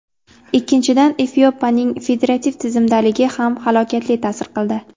Ikkinchidan, Efiopiyaning federativ tizimdaligi ham halokatli ta’sir qildi.